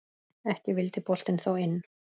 Ekki vildi boltinn þó inn.